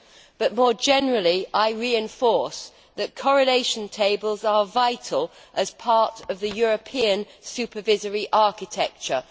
But, more generally, I reinforce that correlation tables are vital as part of the European supervisory architecture.